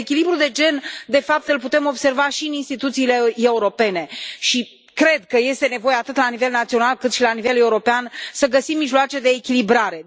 Dezechilibrul de gen, de fapt, îl putem observa și în instituțiile europene și cred că este nevoie atât la nivel național, cât și la nivel european să găsim mijloace de echilibrare.